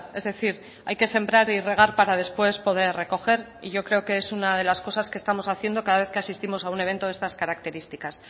es decir hay que sembrar y regar para después poder recoger y yo creo que es una de las cosas que estamos haciendo cada vez que asistimos a un evento de estas características